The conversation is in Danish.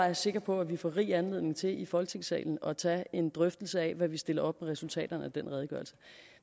er sikker på at vi får rig anledning til i folketingssalen at tage en drøftelse af hvad vi stiller op med resultaterne af den redegørelse